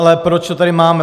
Ale proč to tady máme?